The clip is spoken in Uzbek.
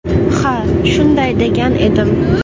Ha, shunday degan edim.